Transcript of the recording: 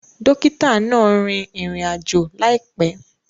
Dókítà náà rìn ìrìn-àjò láìpé